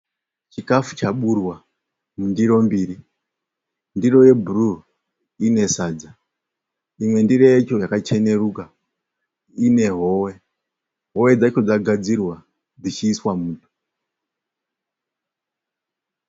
Chikafu chaburwa mundiro mbiri. Ndiro yebhuruu ine sadza. Imwe ndiro yacho yakacheneruka ine howe. Howe dzacho dzagadzirwa dzichiiswa muto.